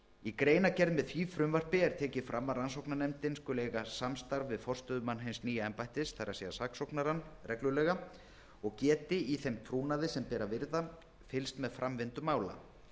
í greinargerð með því frumvarpi er tekið fram að rannsóknarnefndin skuli eiga samstarf við forstöðumann hins nýja embættis það er saksóknarann reglulega og geti í þeim trúnaði sem ber að virða fylgst með framvindu mála